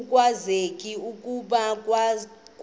akwazeki okokuba kwakuthe